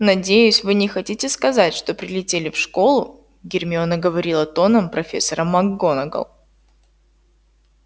надеюсь вы не хотите сказать что прилетели в школу гермиона говорила тоном профессора макгонагалл